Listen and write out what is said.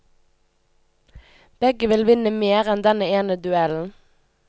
Begge vil vinne mer enn denne ene duellen.